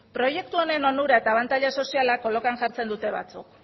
proiektu honen onurak eta abantaila sozialak kolokan jartzen dute batzuk